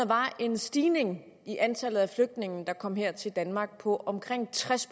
var en stigning i antallet af flygtninge der kom her til danmark på omkring tres